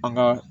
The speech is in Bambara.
An ka